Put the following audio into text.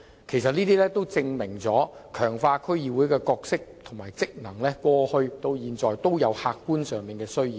其實，這些措施都證明了強化區議會的角色和職能從過去到現在都有客觀上的需要。